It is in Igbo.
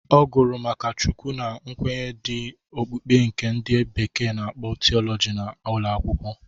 Ọ gụrụ ma Chukwu na nkwenye ndị okpukpe nke ndị bekee na-akpọ tiọlọji n'ụlọ akwụkwọ.